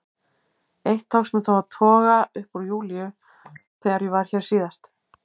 Eitt tókst mér þó að toga upp úr Júlíu þegar ég var hér síðast.